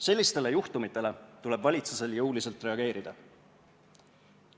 Sellistele juhtumitele tuleb valitsusel jõuliselt reageerida.